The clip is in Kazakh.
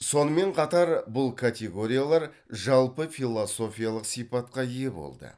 сонымен қатар бұл категориялар жалпы философиялық сипатқа ие болды